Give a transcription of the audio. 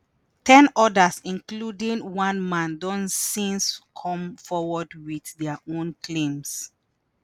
ten odas - including one man - don since come forward with their own claims.